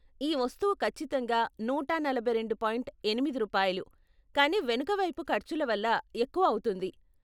ఈ వస్తువు ఖచ్చితంగా నూట నలభై రెండు పాయింట్ ఎనిమిది రూపాయలు, కానీ వెనకవైపు ఖర్చుల వల్ల ఎక్కువ అవుతుంది.